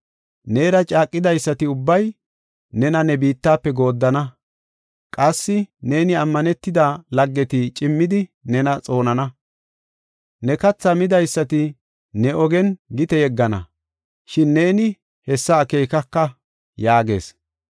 Neera caaqidaysati ubbay nena ne biittafe gooddana; qassi ne ammanetida laggeti cimmidi nena xoonana. Ne kathaa midaysati ne ogen gite yeggana, shin neeni hessa akeekaka” yaagees.